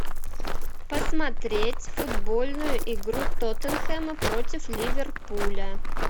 посмотреть футбольную игру тоттенхэма против ливерпуля